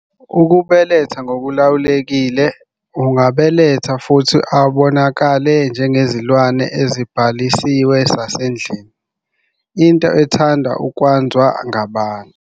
Ukubeletha ngokulawulekile, angabeletha futhi abonakale njengezilwane ezibhalisiwe zasendlini, into ethandwa ukwanzwa ngabantu.